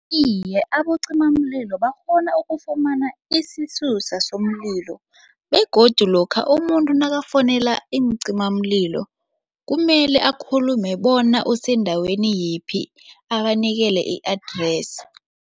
Iye, abocimamlilo bakghona ukufumana isisusa somlilo begodu lokha umuntu nakafonela iincimamlilo kumele akhulume bona osendaweni yiphi abanikele i-address.